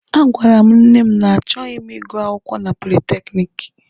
A gwara m nne m na achọghị m ịgụ akwụkwọ na politekiniki.